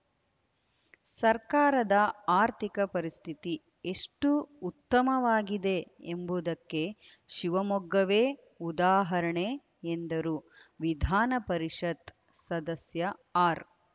ಸರಕಾರದ ಆರ್ಥಿಕ ಪರಿಸ್ಥಿತಿ ಎಷ್ಟುಉತ್ತಮವಾಗಿದೆ ಎಂಬುದಕ್ಕೆ ಶಿವಮೊಗ್ಗವೇ ಉದಾಹರಣೆ ಎಂದರು ವಿಧಾನ ಪರಿಷತ್‌ ಸದಸ್ಯ ಆರ್‌